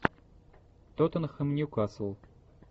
тоттенхэм ньюкасл